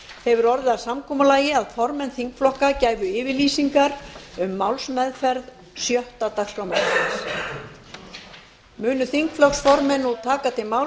hefur orðið að samkomulagi að formenn þingflokka gæfu yfirlýsingar um málsmeðferð sjötta dagskrármálsins munu þingflokksformenn nú taka til máls